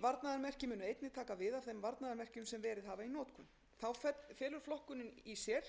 þeim varnaðarmerkjum sem hafa verið í notkun þá felur flokkunin í sér